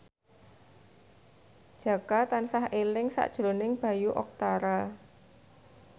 Jaka tansah eling sakjroning Bayu Octara